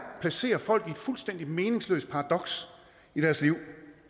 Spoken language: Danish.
at placere folk i et fuldstændig meningsløst paradoks i deres liv